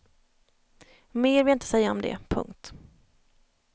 Mer vill jag inte säga om det. punkt